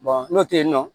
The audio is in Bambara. n'o tɛ yen nɔ